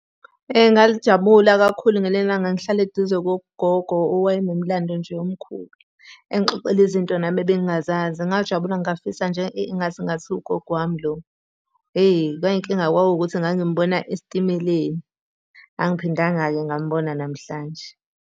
Ngajabula kakhulu ngaleli langa ngihlala eduze kogogo owayenomlando nje omkhulu. Engixoxela izinto nami ebengingazazi, ngajabula ngafisa nje engathi kungathiwa ugogo wami lo. Hheyi manje inkinga kwakuwukuthi ngangimubona esitimeleni. Angiphindanga-ke ngambona namhlanje.